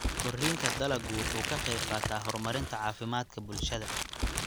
Koriinka dalaggu wuxuu ka qayb qaataa horumarinta caafimaadka bulshada.